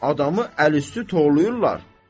Adamı əl üstü torlayırlar.